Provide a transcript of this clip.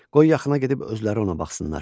Qoy yaxına gedib özləri ona baxsınlar.